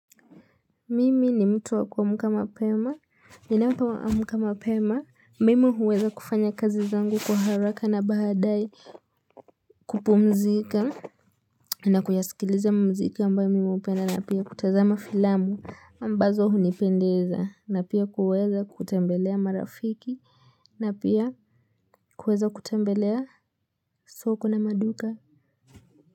Mimi ni mtu wakuamuka mapema, ninapoamuka mapema. Mimi huweza kufanya kazi zangu kwa haraka na bahadai kupumzika na kuyasikiliza mziki ambayo mimi upenda na pia kutazama filamu ambazo hunipendeza na pia kuweza kutembelea marafiki na pia kuweza kutembelea soko na maduka.